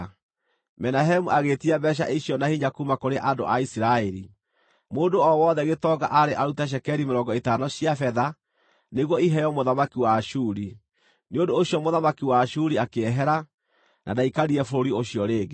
Menahemu agĩĩtia mbeeca icio na hinya kuuma kũrĩ andũ a Isiraeli. Mũndũ o wothe gĩtonga aarĩ arute cekeri mĩrongo ĩtano cia betha, nĩguo iheo mũthamaki wa Ashuri. Nĩ ũndũ ũcio mũthamaki wa Ashuri akĩehera, na ndaikarire bũrũri ũcio rĩngĩ.